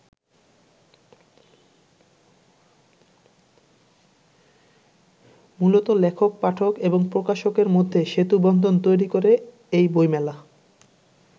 মূলত লেখক-পাঠক এবং প্রকাশের মধ্যে সেতুবন্ধ তৈরি করে এই বইমেলা।